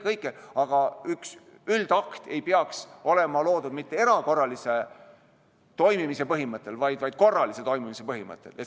Aga üks üldakt ei peaks olema loodud mitte erakorralise toimimise põhimõttel, vaid korralise toimimise põhimõttel.